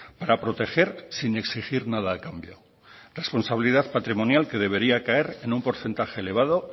para proteger sin exigir nada a cambio responsabilidad patrimonial que debería caer en un porcentaje elevado